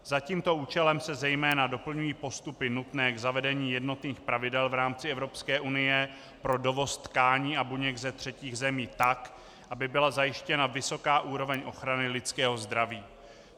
Za tímto účelem se zejména doplňují postupy nutné k zavedení jednotných pravidel v rámci Evropské unie pro dovoz tkání a buněk ze třetích zemí tak, aby byla zajištěna vysoká úroveň ochrany lidského zdraví.